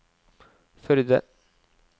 Førde